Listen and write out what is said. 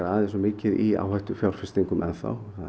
aðeins of mikið í áhættufjárfestingum enn þá